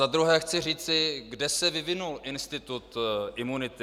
Za druhé chci říci, kde se vyvinul institut imunity.